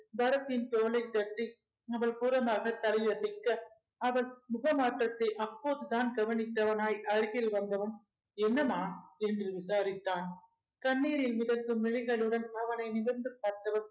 பரத்தின் தோலைத் தட்டி அவள் புறமாக தலையை அசைக்க அவள் முகமாற்றத்தை அப்போதுதான் கவனித்தவனாய் அருகில் வந்தவன் என்னம்மா என்று விசாரித்தான் கண்ணீரில் மிதக்கும் விழிகளுடன் அவனை நிமிர்ந்து பார்த்தவள்